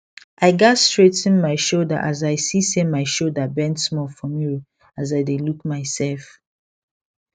i gats straigh ten my shoulder as i see say my shoulder bend small for mirror as i dae look myself